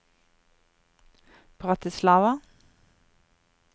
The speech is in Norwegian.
Bratislava